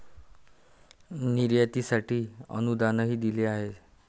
निर्यातीसाठी अनुदानही दिले आहे.